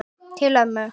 Til ömmu.